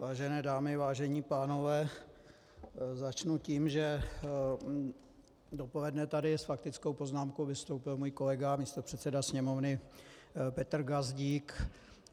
Vážené dámy, vážení pánové, začnu tím, že dopoledne tady s faktickou poznámkou vystoupil můj kolega, místopředseda Sněmovny Petr Gazdík.